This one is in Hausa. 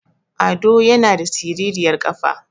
Ado yana da siriryar ƙafa